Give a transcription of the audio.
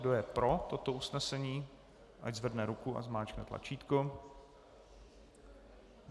Kdo je pro toto usnesení, ať zvedne ruku a zmáčkne tlačítko.